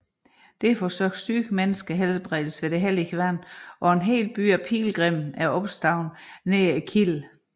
Derfor søger syge mennesker helbredelse ved det hellige vand og en hel by af pilgrimme er opstået nær kilden